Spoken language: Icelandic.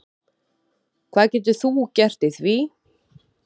Hvað getur þú gert í því?